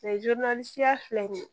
filɛ nin ye